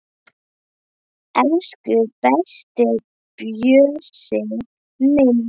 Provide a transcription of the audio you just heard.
Elsku besti Bjössi minn.